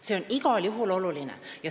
See on igal juhul oluline.